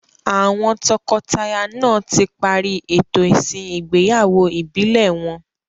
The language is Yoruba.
Àwọn tọkọtaya náà tí parí ètò ìsìn igbeyawo ìbílẹ̀ wọn.